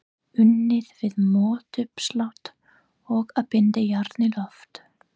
Unnið við mótauppslátt og að binda járn í loft.